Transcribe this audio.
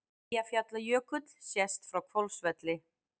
Eyjafjallajökull sést frá Hvolsvelli.